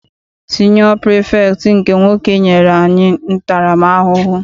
Siniọ pirifektị nke nwoke nyere anyị ntara m ahụhụ.